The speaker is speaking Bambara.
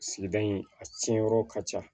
Sigida in a tiɲɛ yɔrɔ ka ca